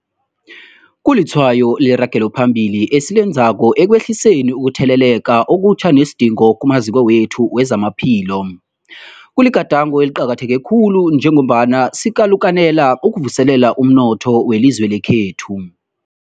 Kulitshwayo leragelo phambili esilenzako ekwehliseni ukutheleleka okutjha nesidingo kumaziko wethu wezamaphilo. Kuligadango eliqakatheke khulu njengombana sikalukanela ukuvuselela umnotho welizwe lekhethu.